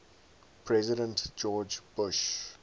president george bush